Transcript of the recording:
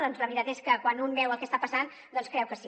doncs la veritat és que quan un veu el que està passant creu que sí